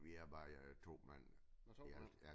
Vi er bare 2 mand i alt ja